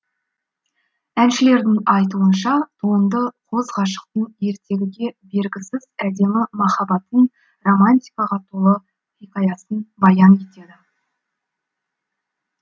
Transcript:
әншілердің айтуынша туынды қос ғашықтың ертегіге бергісіз әдемі махаббатын романтикаға толы хикаясын баян етеді